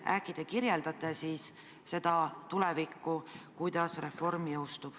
Äkki te kirjeldaksite seda tulevikku, kuidas reform teostub.